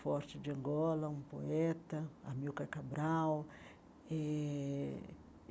forte de Angola, um poeta, a Milka Cabral eh.